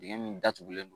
Dingɛ min datugulen